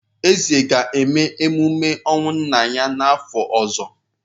Eze ga-eme emume ọnwụ nna ya n’afọ ọzọ.